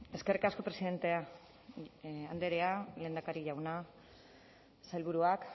eskerrik asko presidente andrea lehendakari jauna sailburuak